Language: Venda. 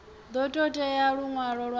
ḓo ṱo ḓea luṅwalo lwa